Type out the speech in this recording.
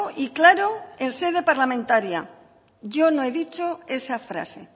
y claro en sede parlamentaria yo no he dicho esa frase